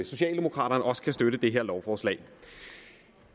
socialdemokraterne også kan støtte det her lovforslag